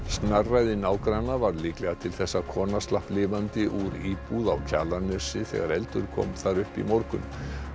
snarræði nágranna varð líklega til þess að kona slapp lifandi úr íbúð á Kjalarnesi þegar eldur kom þar upp í morgun